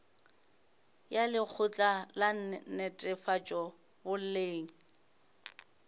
ya lekgotla la netefatšo boleng